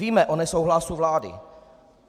Víme o nesouhlasu vlády.